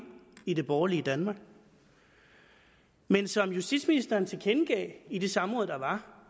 i det borgerlige danmark men som justitsministeren tilkendegav i det samråd der var